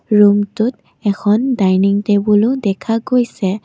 ৰুমটোত এখন ডাইনিং টেবুলো দেখা গৈছে।